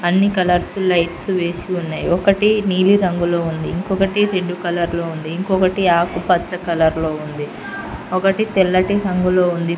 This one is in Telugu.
అన్నీ కలర్ ఫుల్ లైట్స్ వేసి ఉన్నయ్ ఒకటి నీలి రంగులో ఉంది ఇంకొకటి రెడ్డు కలర్ లో ఉంది ఇంకొకటి ఆకుపచ్చ కలర్ లో ఉంది ఒకటి తెల్లటి రంగులో ఉంది.